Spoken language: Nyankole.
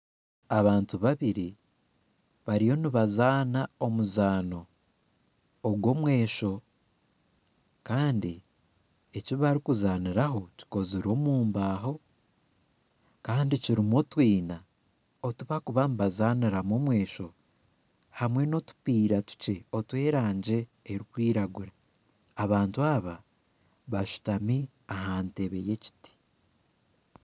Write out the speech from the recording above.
Abantu babiri bariyo nibazana omuzaano gw'omwesho Kandi eki barukuzaniraho kikozirwe omu mbaho Kandi kirumu otwina otu barikuba nibazaniramu omwesho hamwe n'otupiira tukye otw'erangi erukwiragura. Abantu aba bashutami aha nteebe y'ekiti